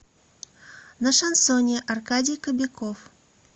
на шансоне аркадий кобяков